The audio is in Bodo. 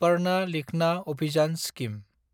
पाधना लिखना अभियान स्किम